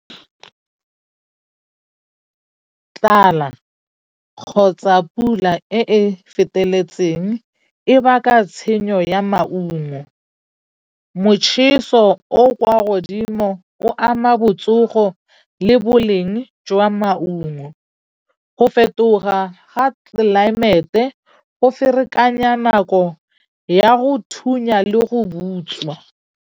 Tlala kgotsa pula e e feteletseng e baka tshenyo ya maungo. Motjheso o o kwa godimo o ama botsogo le boleng jwa maungo. Go fetoga ga tlelaemete go ferekanya nako ya go thunya le go butswa.